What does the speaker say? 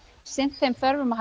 sinnt þeim þörfum og